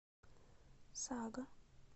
сага